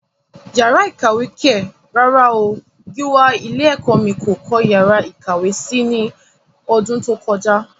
Yàrá ìkàwé kẹ̀! rárá o, Gíwá ilé ẹ̀kọ́ mí kò kọ́ yàrá ìkàwé si ní ọdún tó kọjá.